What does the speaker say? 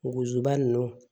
Bugusiba nunnu